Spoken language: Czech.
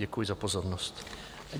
Děkuji za pozornost.